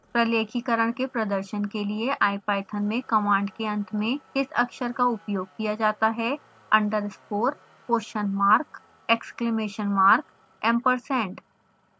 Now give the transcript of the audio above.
प्रलेखीकरण के प्रदर्शन के लिए ipython में कमांड के अंत में किस अक्षर का उपयोग किया जाता है